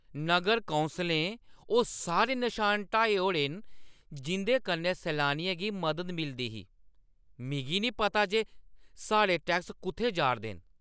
नगर कौंसलें ओह् सारे नशान हटाई ओड़े दे न जिंʼदे कन्नै सैलानियें गी मदद मिलदी ही। मिगी नेईं पता जे साढ़े टैक्स कु'त्थै जा'रदे न ।